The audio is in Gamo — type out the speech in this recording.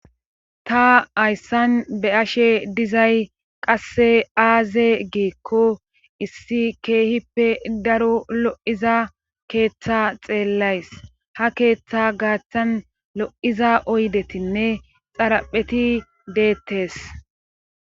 ta hayssan be ashe dizay qasse aaze giekko issi keehippe daro lo7iza keeththa xeellays ha keeththa gaaththan lo7iza oydetinne xarapheti deettes